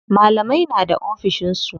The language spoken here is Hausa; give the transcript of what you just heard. Malamai na da ofishin su.